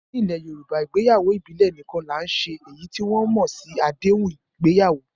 Ní ilẹ̀ Yorùbá, ìgbéyàwó ìbílẹ̀ nìkan là ń ṣe èyí tí wọ́n tún mọ̀ sí àdéhùn ìgbéyàwó